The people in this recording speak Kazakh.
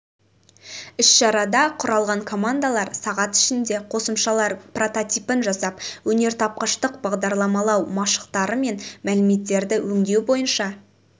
іс-шарада құралған командалар сағат ішінде қосымшалар прототипін жасап өнертапқыштық бағдарламалау машықтары мен мәліметтерді өңдеу бойынша